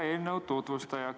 Hea eelnõu tutvustaja!